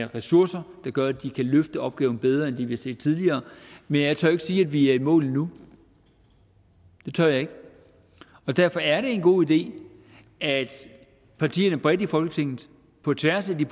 ressourcer der gør at de kan løfte opgaven bedre end det vi har set tidligere men jeg tør ikke sige at vi er i mål endnu det tør jeg ikke og derfor er det en god idé at partierne bredt i folketinget på tværs af de